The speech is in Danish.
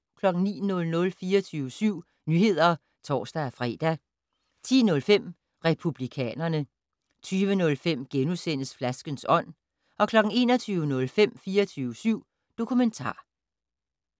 09:00: 24syv Nyheder (tor-fre) 10:05: Republikanerne 20:05: Flaskens ånd * 21:05: 24syv Dokumentar